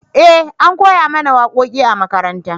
eh an koya mana waƙoƙi a makaranta